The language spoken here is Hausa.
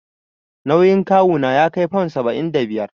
Nauyin kawu na ya kai fam saba'in da biyar.